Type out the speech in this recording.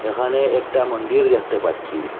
ওখানে একটা মন্ডির দেখতে পাচ্ছি।